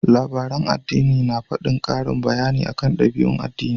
Labaran addini na faɗin ƙarin bayani akan ɗabi'un addini.